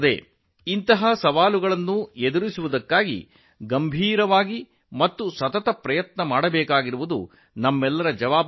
ಈ ಸವಾಲುಗಳಿಗೆ ಗಂಭೀರ ಮತ್ತು ನಿರಂತರ ಪ್ರಯತ್ನಗಳನ್ನು ಮಾಡುವುದು ನಮ್ಮ ಜವಾಬ್ದಾರಿಯಾಗಿದೆ